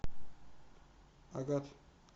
агат